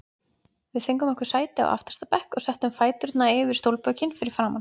Við fengum okkur sæti á aftasta bekk og settum fæturna yfir stólbökin fyrir framan.